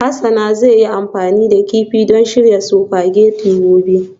Hasana zai yi amfani da kifi don shirya spaghetti gobe